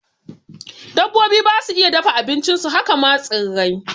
Dabbobi basu iya dafa abincin su, haka ma tsirrai